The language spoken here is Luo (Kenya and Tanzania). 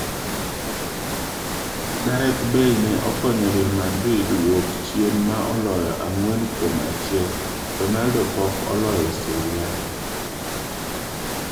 Gareth Bale ne okonyo Real madrid wuok chien ma oloyo ang'wen kuom achiel, Ronaldo pok oloyo Serie A.